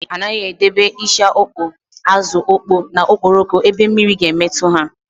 A naghị edebe ịsha ọkpọọ, ázụ̀ ọkpọọ na okporoko ebe mmiri ga-emetụ ha.